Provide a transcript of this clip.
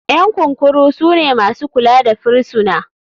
Ƴan kurkuku sune masu kula da firisuna.